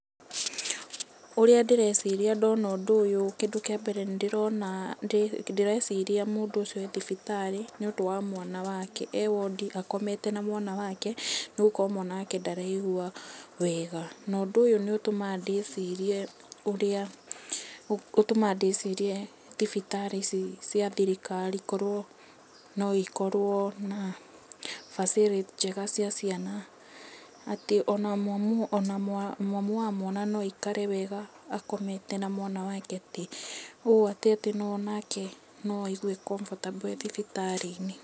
Ũrĩa ndĩreciria ndona ũndũ ũyũ, kĩndũ kĩa mbere nĩ ndĩrona, ndĩreciria mũndũ ũcio e thibitarĩ nĩ ũndũ wa mwana wake, e wondi akomete na mwana wake, nĩ gũkorwo mwana wake ndaraigua wega. Na ũndũ ũyũ nĩ ũtũmaga ndĩcirie ũrĩa, ũtũmaga ndĩcirie thibitarĩ ici cia thirikari korwo no ikorwo na facility njega cia ciana, atĩ ona mamu wa mwana no aikare wega akomete na mwana wake atĩ, ũũ atĩ onake no aigue e comfortable e thibitarĩ-inĩ.